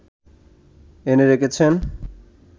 এনে রেখেছেন